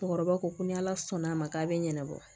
Cɛkɔrɔba ko ko ni ala sɔnn'a ma k'a bɛ ɲɛnabɔ